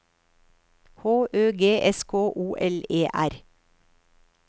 H Ø G S K O L E R